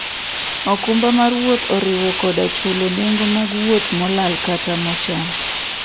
okumba mar wuoth oriwo koda chulo nengo mag wuoth molal kata mochan.